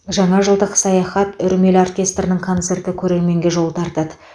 жаңа жылдық саяхат үрмелі оркестрінің концерті көрерменге жол тартады